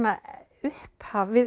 upphaf við